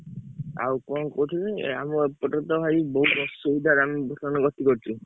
ଆଉ କଣ କହୁଥିଲି ଆମ ଏପଟରେ ତ ଭାଇ ବହୁତ ଅସୁବିଧାରେ ଆମେ ବର୍ତ୍ତମାନ ଗତି କରୁଛୁ।